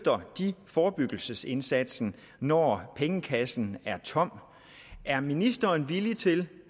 forebyggelsesindsatsen når pengekassen er tom er ministeren villig til